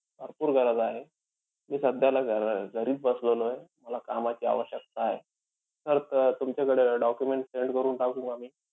भरपूर गरज आहे. मी सध्याला घ अं घरीच बसलेलोय. मला कामाची आवश्यकता आहे. Sir तुमच्याकडे documents send कारण टाकू का मी?